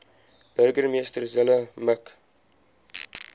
burgemeester zille mik